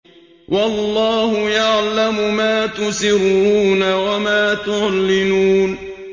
وَاللَّهُ يَعْلَمُ مَا تُسِرُّونَ وَمَا تُعْلِنُونَ